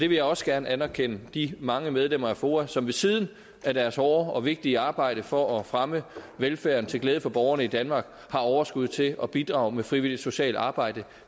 vil også gerne anerkende de mange medlemmer af foa som ved siden af deres hårde og vigtige arbejde for at fremme velfærden til glæde for borgerne i danmark har overskud til at bidrage med frivilligt socialt arbejde